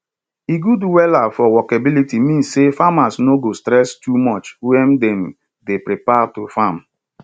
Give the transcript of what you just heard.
e good wella for workability mean say farmers no go stress too much wen dem dey prepare to farm